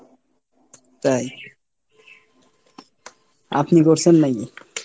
তাই? আপনি করছেন নাকি?